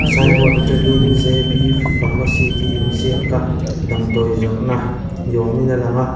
sign board aṭangin jbpharmacy tih inziak a damdawi zawrhna ni awmin a lang a.